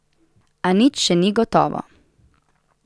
A nič še ni gotovo ...